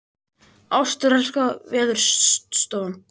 Ástralska veðurstofan